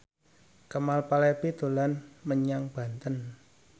Kemal Palevi dolan menyang Banten